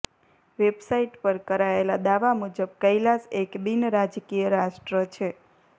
website પર કરાયેલા દાવા મુજબ કૈલાસ એક બિનરાજકીય રાષ્ટ્ર છે